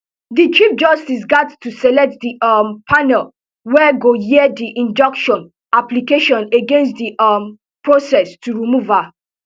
di chief justice gat to select di um panel wey go hear di injunction application against di um process to remove her